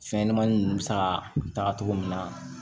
Fɛnɲɛnɛmanin ninnu bɛ saga cogo min na